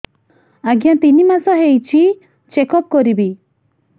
ଆଜ୍ଞା ତିନି ମାସ ହେଇଛି ଚେକ ଅପ କରିବି